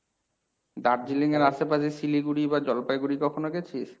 দার্জিলিং এর আশেপাশে শিলিগুড়ি বা জলপাইগুড়ি কখনো গেছিস?